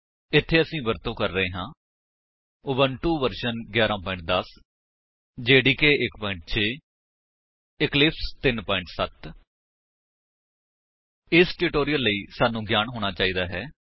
ਇੱਥੇ ਅਸੀ ਵਰਤੋ ਕਰ ਰਹੇ ਹਾਂ Ubuntu version 11 10 OS Java development kit 1 6 Eclipse 3 7 0 ਇਸ ਟਿਊਟੋਰਿਅਲ ਲਈ ਸਾਨੂੰ ਗਿਆਨ ਹੋਣਾ ਚਾਹੀਦਾ ਹੈ